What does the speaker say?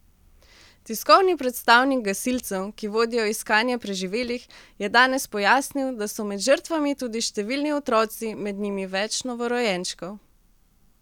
Tiskovni predstavnik gasilcev, ki vodijo iskanje preživelih, je danes pojasnil, da so med žrtvami tudi številni otroci, med njimi več novorojenčkov.